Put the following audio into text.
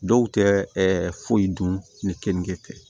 Dɔw tɛ ɛ foyi dun ni kenige tɛ